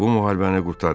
Bu müharibəni qurtarın.